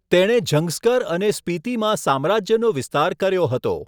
તેણે ઝંગસ્કર અને સ્પીતિમાં સામ્રાજ્યનો વિસ્તાર કર્યો હતો.